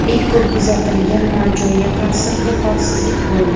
Eng ko‘p kuzatilgan nojo‘ya ta’sir bu – holsizlik bo‘ldi.